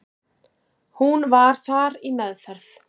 Hún var þar í meðferð.